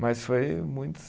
Mas foi muito